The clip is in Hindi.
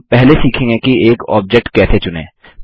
हम पहले सीखेंगे कि एक ऑब्जेक्ट कैसे चुनें